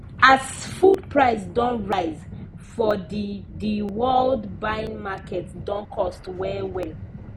as food price don rise for the the world buying market don cost well well